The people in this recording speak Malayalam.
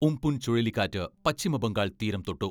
ഉം പുൻ ചുഴലിക്കാറ്റ് പശ്ചിമബംഗാൾ തീരം തൊട്ടു.